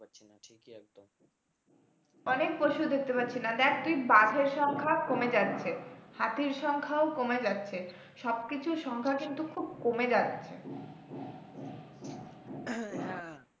অনেক পশু দেখতে পাচ্ছি না দেখ তুই বাঘের সংখ্যা কমে যাচ্ছে হাতির সংখ্যাও কমে যাচ্ছে সবকিছুর সংখ্যা কিন্তু খুব কমে যাচ্ছে